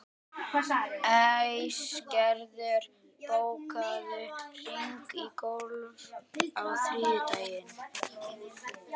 Æsgerður, bókaðu hring í golf á þriðjudaginn.